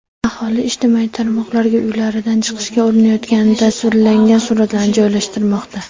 Aholi ijtimoiy tarmoqlarga uylaridan chiqishga urinayotgani tasvirlangan suratlarni joylashtirmoqda.